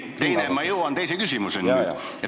Ma jõuan teise küsimuseni nüüd.